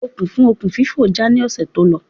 Okùn fún okùn fífò já ní ọ̀sẹ̀ tó lọ